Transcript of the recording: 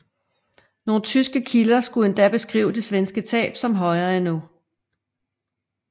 Nogle tyske kilder skulle endda beskrive de svenske tab som højere endnu